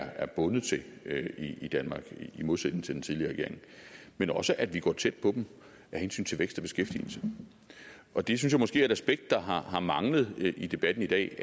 er bundet til i danmark i modsætning til den tidligere regering men også at vi går tæt på dem af hensyn til vækst og beskæftigelse og det synes jeg måske er et aspekt der har har manglet i debatten i dag